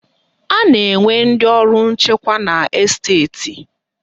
A na-enwe ndị ọrụ nchekwa na Esteti